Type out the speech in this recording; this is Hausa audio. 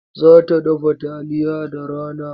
Za ta dafa taliya da rana.